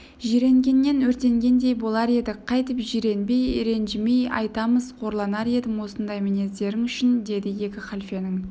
жиренгеннен өртенгендей болар едік қайтіп жиренбей ренжімей айтамыз қорланар едім осындай мінездерің үшін деді екі халфенің